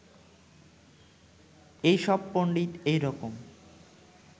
এই সব পণ্ডিত এই রকম